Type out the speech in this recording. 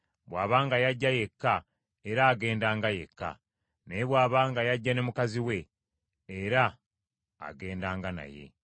Bw’aba nga yajja yekka, era agendanga yekka; naye bw’aba nga yajja ne mukazi we, era agendanga naye.